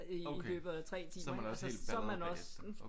Okay. Så er man også helt baldret bagefter